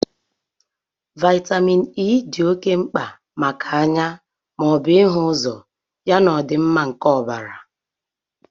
Vitamin E di ọke mkpa maka anya maọbụ ịhu ụzọ ya na ọdịmma nke ọbara